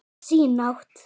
Sína átt.